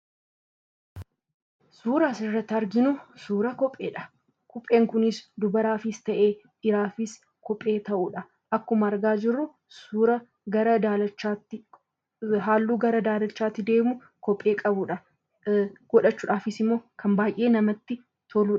Suura asirratti arginu, suura kopheedha. Kopheen kunis dubaraafis ta'ee dhiiraafis kophee ta'udha. Akkuma argaa jirru suura halluu gara daalachaatti deemu kophee qabudha. Godhachuudhaafis baayyee namatti toludha.